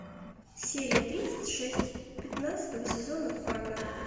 серия тридцать шесть пятнадцатого сезона фарго